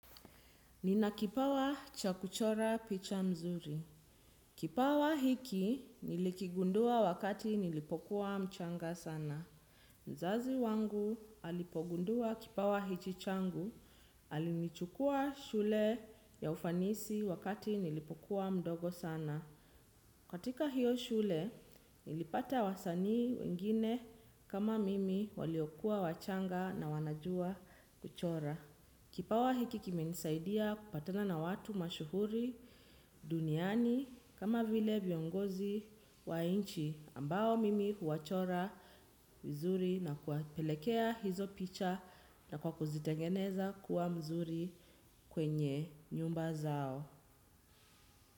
Nina kipawa cha kuchora picha mzuri. Kipawa hiki nilikigundua wakati nilipokuwa mchanga sana. Mzazi wangu alipogundua kipawa hichi changu. Alinichukua shule ya ufanisi wakati nilipokuwa mdogo sana. Katika hio shule, nilipata wasanii wengine kama mimi waliokuwa wachanga na wanajua kuchora. Kipawa hiki kimenisaidia kupatana na watu mashuhuri duniani kama vile viongozi wa nchi ambao mimi huwachora vizuri na kuwapelekea hizo picha na kwa kuzitengeneza kuwa mzuri kwenye nyumba zao.